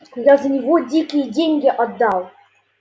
я за него дикие деньги отдал